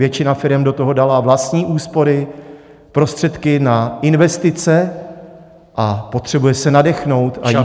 Většina firem do toho dala vlastní úspory, prostředky na investice a potřebují se nadechnout a jít dál.